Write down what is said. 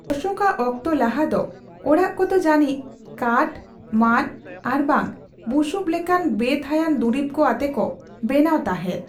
ᱚᱥᱳᱠᱟᱜ ᱚᱠᱛᱚ ᱞᱟᱦᱟ ᱫᱚ, ᱚᱲᱟᱜ ᱠᱚᱫᱚ ᱡᱟᱹᱱᱤᱡ ᱠᱟᱴᱷ, ᱢᱟᱺᱫᱽ ᱟᱨᱵᱟᱝ ᱵᱩᱥᱩᱵ ᱞᱮᱠᱟᱱ ᱵᱮᱼᱛᱷᱟᱹᱭᱟᱱ ᱫᱩᱨᱤᱵᱠᱚ ᱟᱛᱮ ᱠᱚ ᱵᱮᱱᱟᱣ ᱛᱟᱦᱮᱸᱫ ᱾